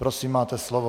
Prosím, máte slovo.